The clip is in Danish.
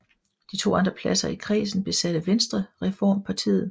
De to andre pladser i kredsen besatte Venstrereformpartiet